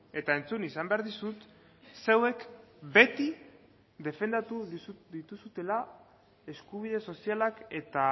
eta entzun izan behar dizut zeuek beti defendatu dituzuela eskubide sozialak eta